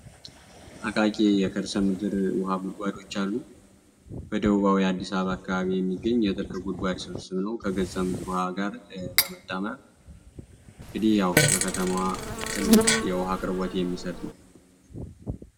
አቃቂ የከርሰ ምድር የውሃ ጉድጓዶች አሉ በአዲስ አበባ አካባቢ የሚገኙ ምድር ውሃ ስብስብ ነው እንግዲህ ያው በመታመር ለከተማዋ ትልቅ የውሃ አቅርቦት የሚሰጥ ነው።